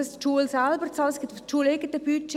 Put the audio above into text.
Das läuft über das schuleigene Budget.